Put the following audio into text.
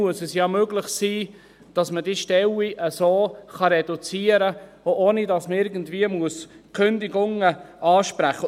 Es muss doch möglich sein, diese Stellen zu reduzieren, ohne dass man Kündigungen aussprechen muss.